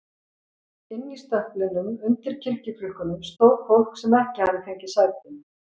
Inn í stöplinum, undir kirkjuklukkunum, stóð fólk sem hafði ekki fengið sæti.